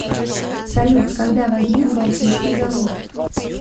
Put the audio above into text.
салют когда возник балтийский завод